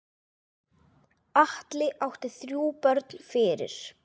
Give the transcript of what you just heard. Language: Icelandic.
Atli átti þrjú börn fyrir.